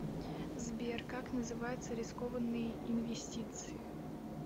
сбер как называются рискованные инвестиции